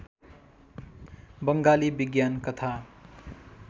बङ्गाली विज्ञान कथा